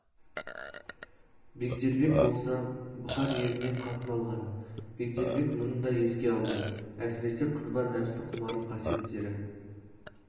бегдербек болса бұхар елінен қатын алған бегдербек мұны да еске алды әсіресе қызба нәпсі құмарлық қасиеттері